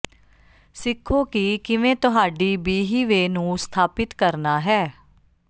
ਸਿੱਖੋ ਕਿ ਕਿਵੇਂ ਤੁਹਾਡੀ ਬੀਹੀਵੇ ਨੂੰ ਸਥਾਪਿਤ ਕਰਨਾ ਹੈ